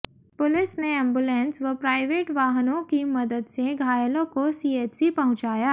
police ने ambulance व private वाहनों की मदद से घायलों को सीएचसी पहुंचाया